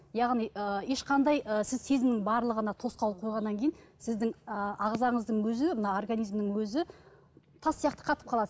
яғни ы ешқандай ы сіз сезімнің барлығына тосқауыл қойғаннан кейін сіздің ы ағзаңыздың өзі мына организмнің өзі тас сияқты қатып қалады